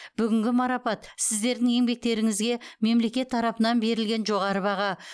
бүгінгі марапат сіздердің еңбектеріңізге мемлекет тарапынан берілген жоғары баға